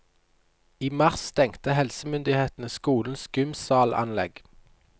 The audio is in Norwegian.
I mars stengte helsemyndighetene skolens gymsalanlegg.